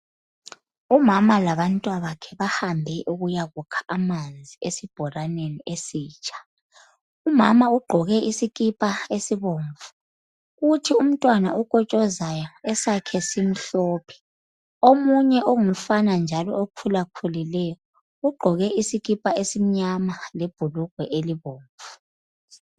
Umama labantwabakhe bahambe ukuyakukha amanzi esibhoraneni esitsha. Umama ugqoke isikipa esibomvu kuthi umntwana okotshozayo esakhe simhlophe. Omunye ongumfana njalo okhulakhulileyo ugqoke isikipa esimnyama lebhulugwe elibomvu.